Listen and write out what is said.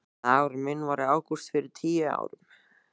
Dagurinn minn var í ágúst fyrir tíu árum.